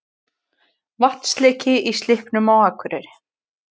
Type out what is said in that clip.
Vatnsleki í Slippnum á Akureyri